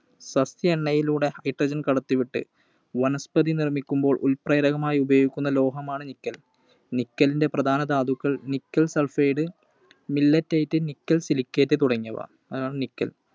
സസ്യ എണ്ണയിലൂടെ Hydrogen കടത്തി വിട്ട് വനസ്‌പതി നിർമ്മിക്കുമ്പോൾ ഉൾപ്രേരകമായി ഉപയോഗിക്കുന്ന ലോഹമാണ് Nickel. Nickel ൻറെ പ്രധാന ധാതുക്കൾ Nickel Sulphide, Milletite, Nickel Silicate തുടങ്ങിയവ. അതാണ് Nickel